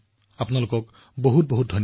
আপোনালোক সকলোলৈ অশেষ অশেষ ধন্যবাদ